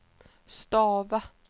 stava